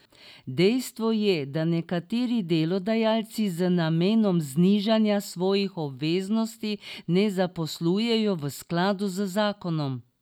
Dejstvo je, da nekateri delodajalci z namenom znižanja svojih obveznosti ne zaposlujejo v skladu z zakonom.